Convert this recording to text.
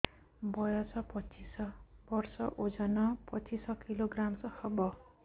ବୟସ ପଚିଶ ବର୍ଷ ଓଜନ ପଚିଶ କିଲୋଗ୍ରାମସ ହବ